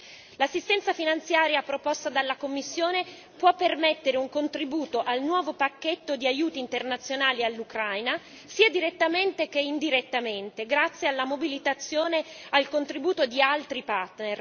L'assistenza finanziaria proposta dalla Commissione può permettere un contributo al nuovo pacchetto di aiuti internazionali all'Ucraina, sia direttamente che indirettamente, grazie alla mobilitazione e al contributo di altri partner.